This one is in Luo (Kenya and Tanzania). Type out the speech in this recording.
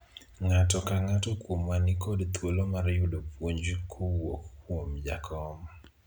ng'ato ka ng'ato kuomwa nikod thuolo mar yudo puonj kwouok kuom jakom